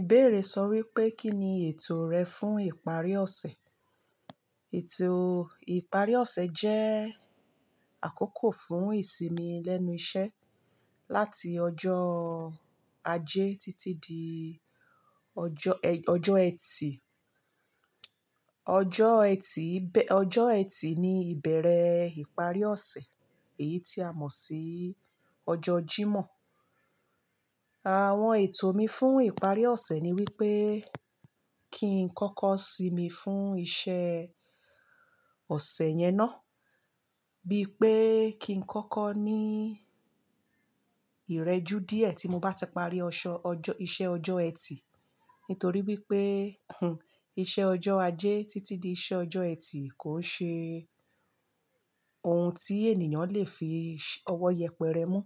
Ìbéèrè sọ wípé, kínni ètò rẹ fún ìparí ọ̀sẹ̀? Ètò ìparí ọ̀sẹ̀ jẹ́ àkókò fún ìsinmi lẹ́nu iṣẹ́ láti ọjọ́ ajé títí di ọjọ́ ẹtì. Ọjọ́ ẹtì, ọjọ́ ẹtì ni ìbẹ̀rẹ̀ ìparí ọ̀sẹ̀ èyí tí a mọ̀ sí ọjọ́ Jímọ̀. Àwọn ètò mi fún ìparí ọ̀sẹ̀ ni wípé kí n kọ́kọ́ sinmi fún iṣẹ́ ọ̀sẹ̀ yẹn ná, bí pé kí n kọ́kọ́ ní ìrẹjú díẹ̀ tí mo bá ti parí ìṣe ọjọ́ ẹtì. Nítorí wípé iṣẹ́ ọjọ́ ajé títí di iṣẹ́ ọjọ́ ẹtì kò ṣe ohun tí ènìyàn le fi ọwọ́ yẹpẹrẹ mú.